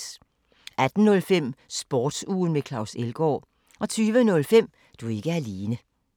18:05: Sportsugen med Claus Elgaard 20:05: Du er ikke alene